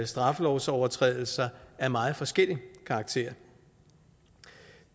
straffelovsovertrædelser af meget forskellig karakter